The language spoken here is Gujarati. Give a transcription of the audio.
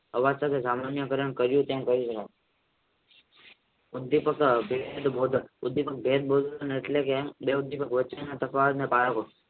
આવકારે તેમ કર્યું તેમ કહેવાય